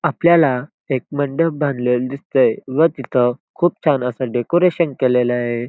आपल्याला एक मंडप बांधलेला दिसतय व तिथ खूप छान असं डेकोरेशन केलेल ए.